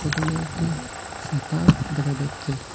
এখানে একটি সাতাও দেখা যাচ্ছে।